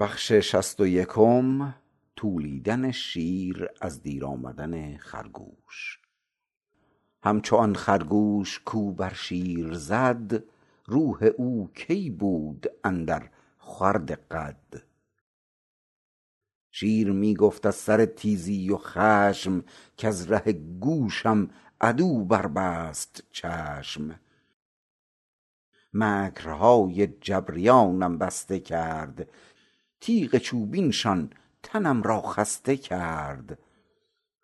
همچو آن خرگوش کو بر شیر زد روح او کی بود اندر خورد قد شیر می گفت از سر تیزی و خشم کز ره گوشم عدو بر بست چشم مکرهای جبریانم بسته کرد تیغ چوبینشان تنم را خسته کرد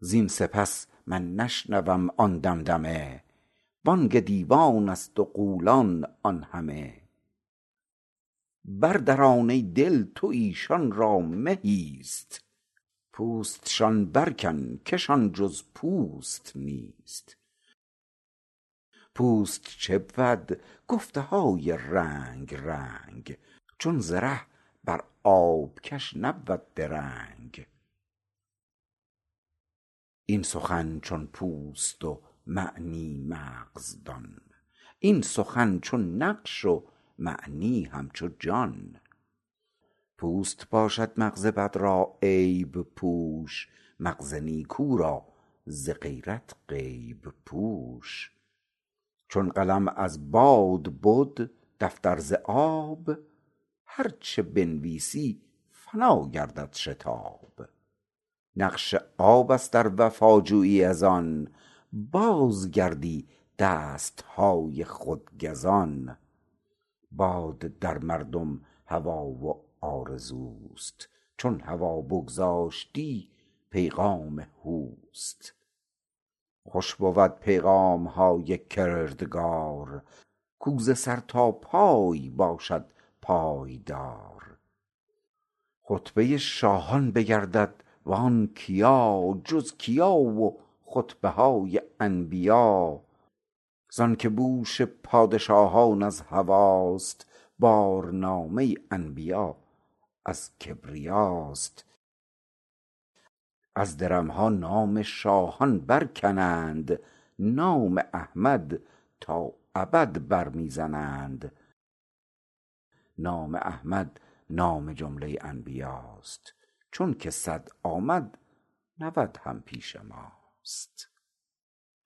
زین سپس من نشنوم آن دمدمه بانگ دیوانست و غولان آن همه بر دران ای دل تو ایشان را مه ایست پوستشان برکن کشان جز پوست نیست پوست چه بود گفته های رنگ رنگ چون زره بر آب کش نبود درنگ این سخن چون پوست و معنی مغز دان این سخن چون نقش و معنی همچو جان پوست باشد مغز بد را عیب پوش مغز نیکو را ز غیرت غیب پوش چون قلم از باد بد دفتر ز آب هرچه بنویسی فنا گردد شتاب نقش آبست ار وفا جویی از آن باز گردی دستهای خود گزان باد در مردم هوا و آرزوست چون هوا بگذاشتی پیغام هوست خوش بود پیغامهای کردگار کو ز سر تا پای باشد پایدار خطبه شاهان بگردد و آن کیا جز کیا و خطبه های انبیا زانک بوش پادشاهان از هواست بارنامه انبیا از کبریاست از درمها نام شاهان برکنند نام احمد تا ابد بر می زنند نام احمد نام جمله انبیاست چونک صد آمد نود هم پیش ماست